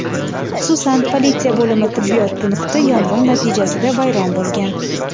xususan politsiya bo‘limi tibbiyot punkti yong‘in natijasida vayron bo‘lgan.